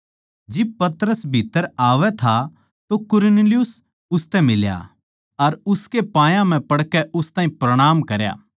जिब पतरस भीत्त्तर आवै था तो कुरनेलियुस उसतै फेट्या अर उसकै पायां म्ह पड़कै उस ताहीं प्रणाम करया